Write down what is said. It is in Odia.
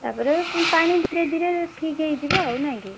ତାପରେ ପାଣି ଧୀରେ ଧୀରେ ଠିକ ହେଇଯିବ ଆଉ ନାଇଁ କି?